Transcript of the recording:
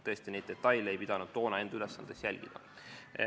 Tõesti, ma ei pidanud toona enda ülesandeks neid detaile jälgida.